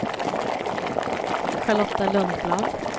Charlotta Lundblad